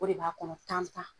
O de b'a kɔnɔ tan tan.